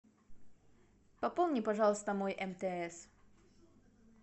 пополни пожалуйста мой мтс